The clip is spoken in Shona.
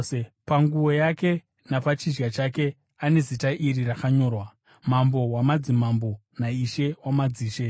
Panguo yake napachidya chake ane zita iri rakanyorwa: mambo wamadzimambo naishe wamadzishe